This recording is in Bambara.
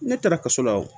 Ne taara kaso la o